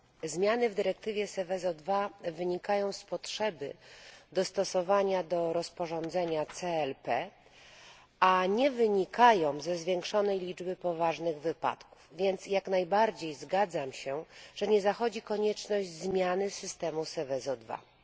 Zmiany w dyrektywie Seveso II wynikają z potrzeby dostosowania do rozporządzenia CLP, a nie ze zwiększonej liczby poważnych wypadków, więc jak najbardziej zgadzam się, że nie zachodzi konieczność zmiany systemu Seveso II.